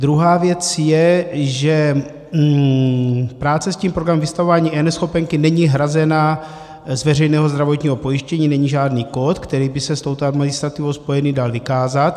Druhá věc je, že práce s tím programem vystavování eNeschopenky není hrazena z veřejného zdravotního pojištění, není žádný kód, který by se s touto administrativou spojený dal vykázat.